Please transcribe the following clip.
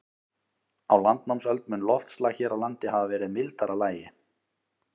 Á landnámsöld mun loftslag hér á landi hafa verið í mildara lagi.